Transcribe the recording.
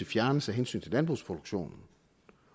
fjernes af hensyn til landbrugsproduktionen